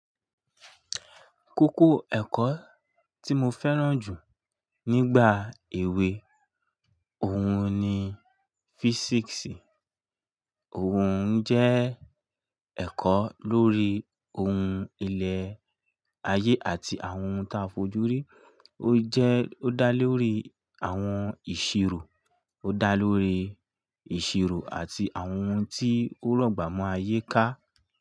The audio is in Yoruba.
Kókó ẹ̀kọ́ tí mo fẹ́ràn jù nígbà èwe òun ni físíìsì. Òun jẹ́ ẹ̀kọ́ lórí ohun ilẹ̀ ayé àti àwọn ohun ta fojú rí. Ó jẹ́ ó dá lórí àwọn ìṣirò, ó dá lórí ìṣirò àti àwọn ohun tí ó rọ̀gbà mọ́ ayé ká.